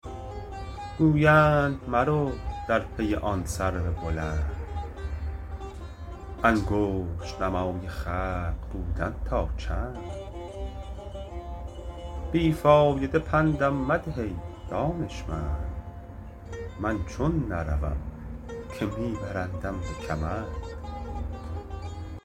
گویند مرو در پی آن سرو بلند انگشت نمای خلق بودن تا چند بی فایده پندم مده ای دانشمند من چون نروم که می برندم به کمند